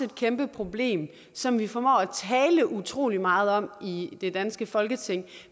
et kæmpe problem som vi formår at tale utrolig meget om i det danske folketing